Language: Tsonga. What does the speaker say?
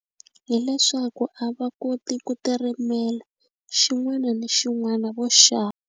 Hi leswaku a va koti ku ti rimela xin'wana ni xin'wana vo .